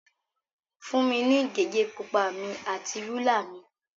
Fún mi ní gègé pupa mi àti rúlà mi.